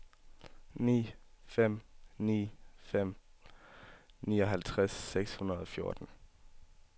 ni fem ni fem nioghalvtreds seks hundrede og fjorten